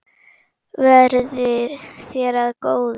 Verði þér að góðu.